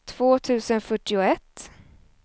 två tusen fyrtioett